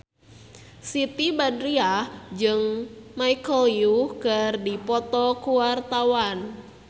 Siti Badriah jeung Michelle Yeoh keur dipoto ku wartawan